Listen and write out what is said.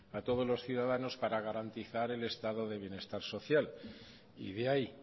a todos los ciudadanos para garantizar el estado de bienestar social y de ahí